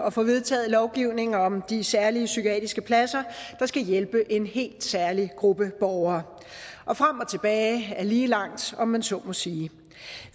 at få vedtaget lovgivningen om de særlige psykiatriske pladser der skal hjælpe en helt særlig gruppe borgere og frem og tilbage er lige langt om man så må sige